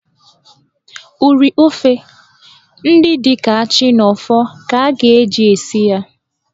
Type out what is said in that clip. Ụrị ofe ndị dị ka achị na ọfọ ka a ga-eji esi ya.